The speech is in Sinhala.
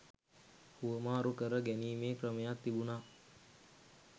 හුවමාරු කර ගැනීමේ ක්‍රමයක් තිබුණා